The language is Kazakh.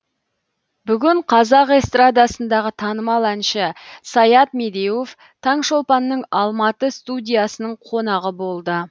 бүгін қазақ эстрадасындағы танымал әнші саят медеуов таңшолпанның алматы студиясының қонағы болды